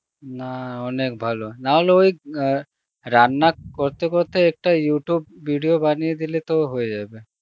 না অনেক ভালো নাহলে ওই গা~ রান্না করতে করতে একটা Youtube video বানিয়ে দিলে তো হয়ে যাবে